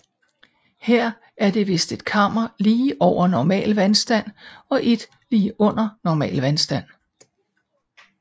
Her er det vist et kammer lige over normal vandstand og et lige under normal vandstand